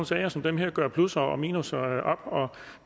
sager som dem jo gøre plusser og minusser op